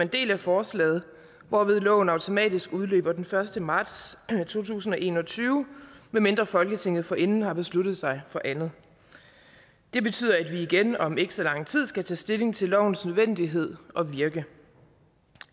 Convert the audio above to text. del af forslaget hvorved loven automatisk udløber den første marts to tusind og en og tyve medmindre folketinget forinden har besluttet sig for andet det betyder at vi igen om ikke så lang tid skal tage stilling til lovens nødvendighed og virke